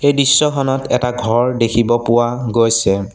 দৃশ্যখনত এটা ঘৰ দেখিব পোৱা গৈছে।